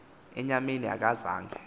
enyameni aka zange